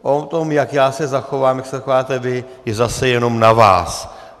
O tom, jak já se zachovám, jak se zachováte vy, je zase jenom na vás.